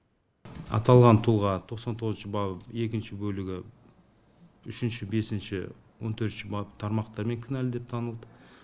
аталған тұлға тоқсан тоғызыншы бап екінші бөлігі үшінші бесінші он төртінші бап тармақтармен кінәлі деп танылды